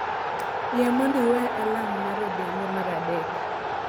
Yie mondo iwe alarm mar odhiambo mar adek